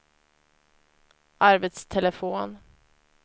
arbetstelefon